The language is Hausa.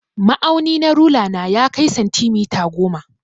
Ma'auni na rula na ya kai santimita goma.